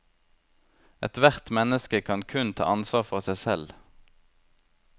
Ethvert menneske kan kun ta ansvar for seg selv.